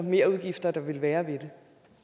merudgifter der vil være ved det